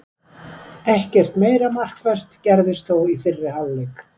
Ekkert meira markvert gerðist þó í fyrri hálfleik.